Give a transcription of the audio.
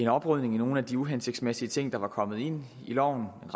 oprydning i nogle af de uhensigtsmæssige ting der var kommet ind i loven